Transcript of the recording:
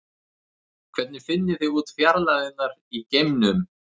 Hvernig finnið þið út fjarlægðirnar í geimnum?